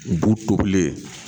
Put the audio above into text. Bu tobilen